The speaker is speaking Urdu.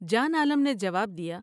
جان عالم نے جواب دیا ۔